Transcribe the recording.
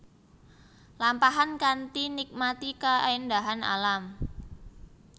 Lampahan kanthi nikmati kaéndahan alam